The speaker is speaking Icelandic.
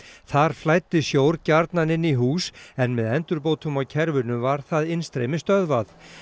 þar flæddi sjór gjarnan inn í hús en með endurbótum á kerfinu var það innstreymi stöðvað